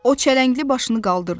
O çələngli başını qaldırdı.